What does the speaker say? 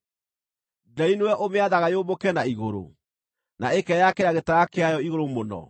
Nderi nĩwe ũmĩathaga yũmbũke na igũrũ, na ĩkeyakĩra gĩtara kĩayo igũrũ mũno?